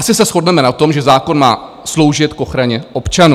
Asi se shodneme na tom, že zákon má sloužit k ochraně občanů.